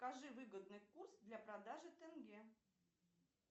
скажи выгодный курс для продажи тенге